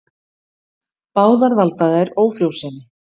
Báðar valda þær ófrjósemi.